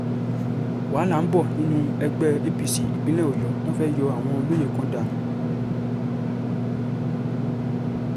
wàhálà ń bọ̀ nínú ẹgbẹ́ apc ìpínlẹ̀ ọ̀yọ́ wọn fẹ́ẹ́ yọ àwọn olóyè kan dànù